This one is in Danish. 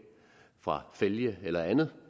for fælge eller andet